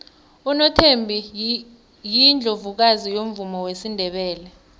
unothembi yiundlovukazi yomvumo wesindebele